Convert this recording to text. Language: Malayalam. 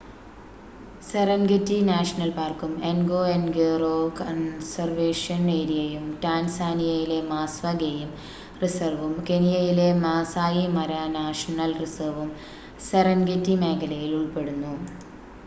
സെറെൻഗെറ്റി നാഷണൽ പാർക്കും എൻഗോഎൻഗോറോ കൺസർവേഷൻ ഏരിയയും ടാൻസാനിയയിലെ മാസ്‌വ ഗെയിം റിസർവും കെനിയയിലെ മാസായി മാര നാഷണൽ റിസർവും സെറെൻഗെറ്റി മേഖലയിൽ ഉൾപ്പെടുന്നു